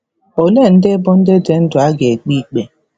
Ole ndị bụ “ndị dị ndụ” a ga-ekpe ikpe?